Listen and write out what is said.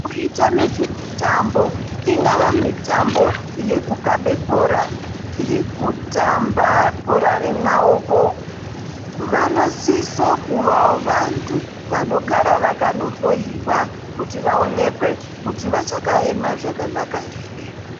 Vanoita nezvemutambo ngava mutambo wekukabe bhorai wekutamba bhora remaoko vanosiso kuvawo vantu vanogara vakanohloyiwa kuti vaonekwe kuti vachakaema zvakanaka here.